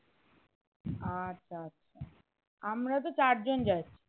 আচ্ছা আচ্ছা আমরা তো চার জন যাচ্ছি